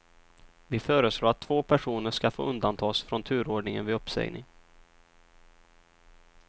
Vi föreslår att två personer ska få undantas från turordningen vid uppsägning.